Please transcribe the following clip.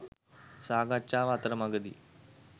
සාකච්ඡාව අතරමඟදී